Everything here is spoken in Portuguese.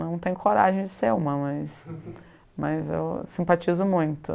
Não tenho coragem de ser uma, mas... Mas eu simpatizo muito.